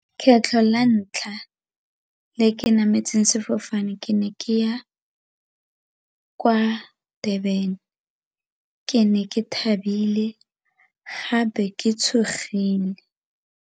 Kgetlho la ntlha le ke nametse sefofane ke ne ke ya kwa Durban ke ne ke thabile gape ke tshogile.